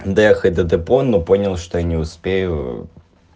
доехать до депо но понял что не успею